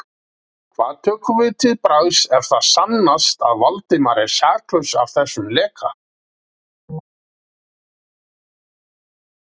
Hvað tökum við til bragðs, ef það sannast að Valdimar er saklaus af þessum leka?